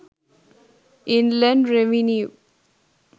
inland revenue